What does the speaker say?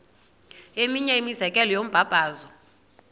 eminye imizekelo yombabazo